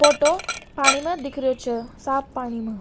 Photo पानी म दिख रहो छ साफ पानी मा।